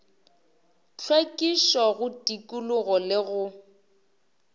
hlwekišo go tikologo le go